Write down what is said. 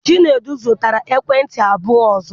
Chinedu zụtara ekwentị abụọ ọzọ.